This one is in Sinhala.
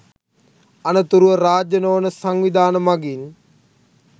අනතුරුව රාජ්‍ය නොවන සංවිධාන මගින්